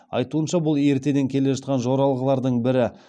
айтуынша бұл ертеден келе жатқан жоралғылардың бірі